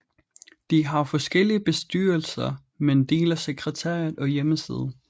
De har forskellige bestyrelser men deler sekretariat og hjemmeside